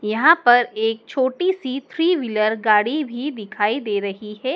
यहाँ पर एक छोटी सी थ्री व्हीलर गाड़ी भी दिखाई दे रही है।